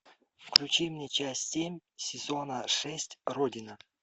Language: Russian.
включи мне часть семь сезона шесть родина